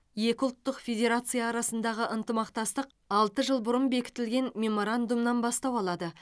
екі ұлттық федерация арасындағы ынтымақтастық алты жыл бұрын бекітілген меморандумнан бастау алады